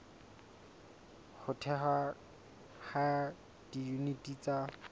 ho thehwa ha diyuniti tsa